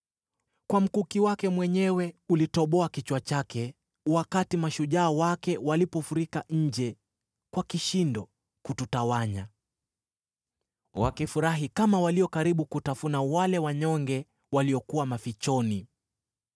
Kwa mkuki wake mwenyewe ulitoboa kichwa chake wakati mashujaa wake walifurika nje kwa kishindo kututawanya, wakifurahi kama walio karibu kutafuna wale wanyonge waliokuwa mafichoni.